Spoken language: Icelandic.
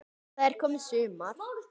Það er komið sumar.